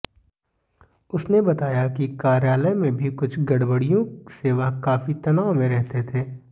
उसने बताया कि कार्यालय में भी कुछ गड़बड़ियों से वह काफी तनाव में रहते थे